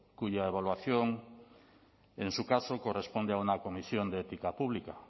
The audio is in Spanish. cuya evaluación en su caso corresponde a una comisión de ética pública